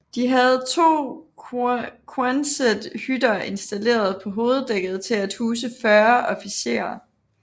De havde to Quonset hytter installeret på hoveddækket til at huse 40 officerer